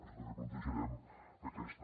per això també plantejarem aquesta